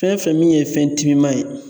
Fɛn fɛn min ye fɛn timiman ye..